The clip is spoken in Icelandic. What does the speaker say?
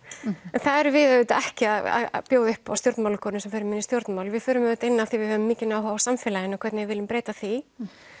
en það erum við auðvitað ekki að bjóða upp á stjórnmálakonur sem förum inn í stjórnmál við förum auðvitað inn af því að við höfum mikinn áhuga á samfélaginu og hvernig við viljum breyta því